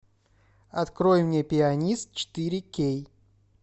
открой мне пианист четыре кей